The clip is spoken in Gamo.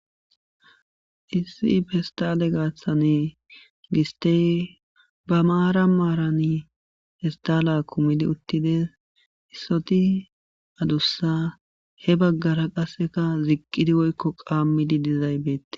Issi pestale gaathane gistey ba maara maarani hestala kumidi uttides issoti adussa he baggara qasseka ziqqidi woyikko qaammidi dizaybeette